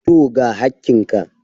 Tooo, ga hakkin ka.